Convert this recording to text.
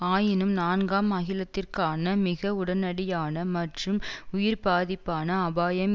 ஆயினும் நான்காம் அகிலத்திற்கான மிக உடனடியான மற்றும் உயிர்ப்பாதிப்பான அபாயம்